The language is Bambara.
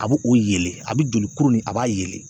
A bɛ o yeelen, a bɛ joli kuru nin a b'a yeelen